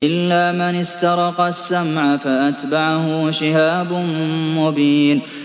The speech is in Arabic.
إِلَّا مَنِ اسْتَرَقَ السَّمْعَ فَأَتْبَعَهُ شِهَابٌ مُّبِينٌ